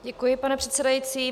Děkuji, pane předsedající.